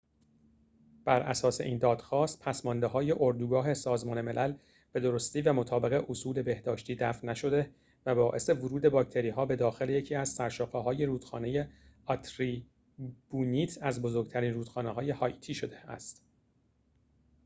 براساس این دادخواست پسماندهای اردوگاه سازمان ملل به درستی و مطابق اصول بهداشتی دفع نشده و باعث ورود باکتری‌ها به داخل یکی از سرشاخه‌های رودخانه آرتیبونیت از بزرگترین رودخانه‌های هائیتی شده است